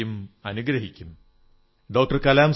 in body and soul you have everything to give